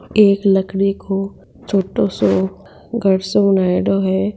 एक लकड़ी को छोटो सो घर सो बनायोडो है।